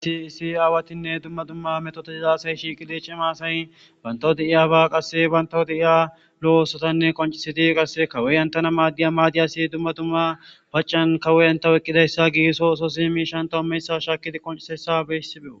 Issi issi awatine duma duma metotiza asati shiqidi c'ima asay bantaw de'iyaba qase bantaw de'iya lo'o osota qonc'isidi qase kawiya entena madiya madiyas duma duma pac'iyan kawoy inte oyqidaysa gigiso ososi mishata imiyayta shakidi qonc'isiyaysa be'asiko.